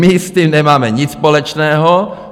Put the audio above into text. My s tím nemáme nic společného.